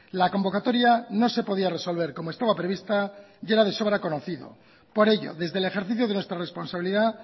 la convocatoria no se podía resolver como estaba prevista y era de sobra conocido por ello desde el ejercicio de nuestra responsabilidad